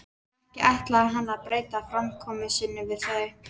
En ekki ætlaði hann að breyta framkomu sinni við þau.